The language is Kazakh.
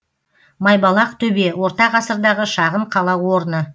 майбалақ төбе орта ғасырдағы шағын қала орны